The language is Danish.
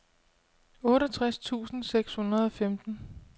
otteogtres tusind seks hundrede og femten